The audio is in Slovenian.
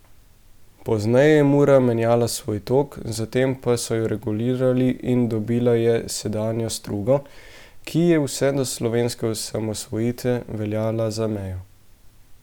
Pozneje je Mura menjala svoj tok, zatem pa so jo regulirali in dobila je sedanjo strugo, ki je vse do slovenske osamosvojitve veljala za mejo.